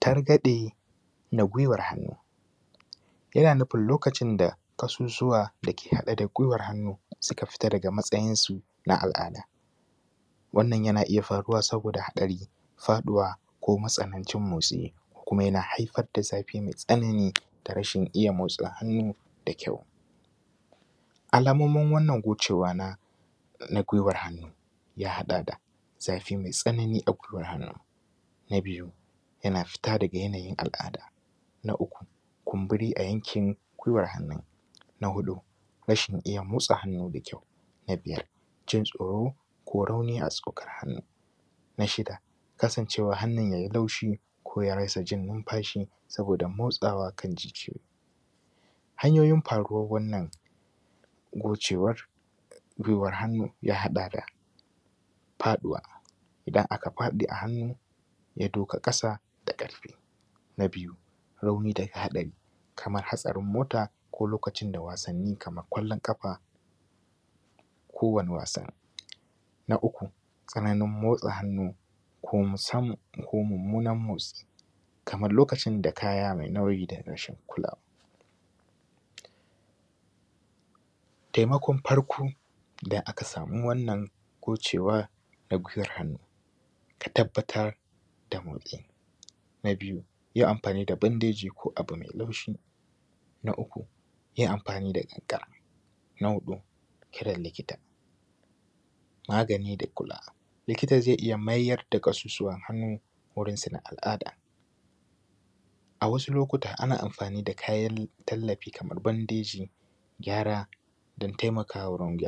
Targaɗe na guiwan hannu. Yana nufin lokacin da ƙasusuwa dake haɗe da guiwan hannu suka fice daga matsayinsu na al’ada. Wannan yana iyya faruwa saboda haɗari, faɗuwa ko matsanancin motsi kuma yana haifar da zafi mai tsanani, da rashin iyya motsa hannu da kyau. Alamomin wannan gocewa na guiwar hannu ya haɗa da zafi mai tsanani a guiwar hannun. Na biyu yana fita daga yanayin al’ada. Na uku kumburi a yankin guiwan hannun. Na huɗu rashin iyya motsa hannu da kyau. Na biyar jin tsoro ko rauni a tsokar hannun. Na shida kasan cewan hannu yai laushi ko ya rasajin nimfashi soboda motsawa akan jijiyoyi. Hanyoyin faruwan wannan gocewan guiwar hannu ya haɗa da faɗuwa, idan aka faɗi a hannu ya duka ƙasa da ƙarfi. Na biyu rauni daga hatsari Kaman hatsarin mota ko lokacin wasanni Kaman wasan kwallon ƙafa da kowani wasa. Na uku tsananin motsa hannu ko mummunan motsi kamar lokacin da kaya mai nauyi da rashin kulawa. Taimakon farko idan aka samu wannan gocewar na guiwar hannu. Ka tabbatar da muki. Na biyu yi amfani da bandeji ko abu mai laushi. Na uku yi amfani da ƙikar. Na huɗu kiran likita magani da kula. Likita zai iyya maida ƙasusuwan hannu gurin sun a al’ada, ana amfani da kayan lallafi Kaman bandeji, gyara dan taimakawa rauni.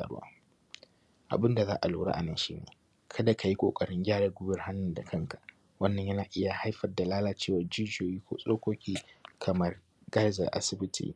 Abunda za’a lura anan shine kada kayi ƙoƙarin gyaran guiwan hannu da kanka wanna yana iyya jayo lalacewar jijiyoyi da tsokoki Kaman ka’izar asibiti.